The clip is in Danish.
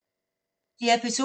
DR P2